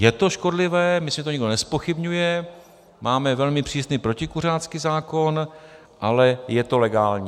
Je to škodlivé, myslím, že to nikdo nezpochybňuje, máme velmi přísný protikuřácký zákon, ale je to legální.